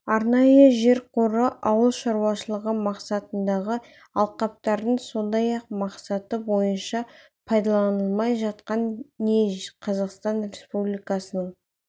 арнайы жер қоры ауыл шаруашылығы мақсатындағы алқаптардың сондай-ақ мақсаты бойынша пайдаланылмай жатқан не қазақстан республикасының